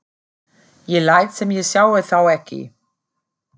Ég læt sem ég sjái þá ekki.